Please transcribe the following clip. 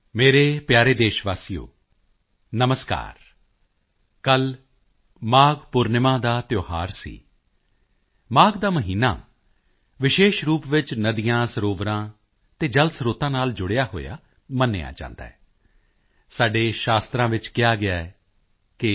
ਮੇਰੇ ਪਿਆਰੇ ਦੇਸ਼ਵਾਸੀਓ ਨਮਸਕਾਰ ਕੱਲ੍ਹ ਮਾਘ ਪੂਰਨਿਮਾ ਦਾ ਤਿਓਹਾਰ ਸੀ ਮਾਘ ਦਾ ਮਹੀਨਾ ਵਿਸ਼ੇਸ਼ ਰੂਪ ਵਿੱਚ ਨਦੀਆਂਸਰੋਵਰਾਂ ਅਤੇ ਜਲ ਸਰੋਤਾਂ ਨਾਲ ਜੁੜਿਆ ਹੋਇਆ ਮੰਨਿਆ ਜਾਂਦਾ ਹੈ ਸਾਡੇ ਸ਼ਾਸਤਰਾਂ ਵਿੱਚ ਕਿਹਾ ਗਿਆ ਹੈ ਕਿ